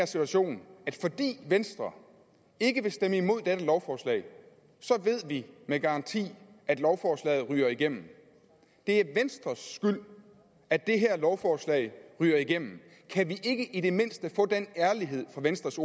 situation at fordi venstre ikke vil stemme imod dette lovforslag så ved vi med garanti at lovforslaget ryger igennem det er venstres skyld at det her lovforslag ryger igennem kan vi ikke i det mindste få den ærlighed fra venstres